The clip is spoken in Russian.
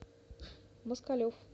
москалев